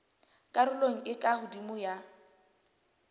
karolong e ka hodimo ya